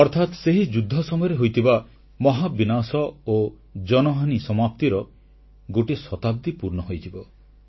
ଅର୍ଥାତ୍ ସେହି ଯୁଦ୍ଧ ସମୟରେ ହୋଇଥିବା ମହାବିନାଶ ଓ ଜନହାନି ସମାପ୍ତିର ଗୋଟିଏ ଶତାବ୍ଦୀ ପୂର୍ଣ୍ଣ ହୋଇଯିବ